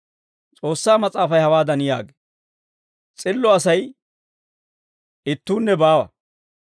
S'oossaa Mas'aafay hawaadan yaagee; «S'illo Asay ittuunne baawa.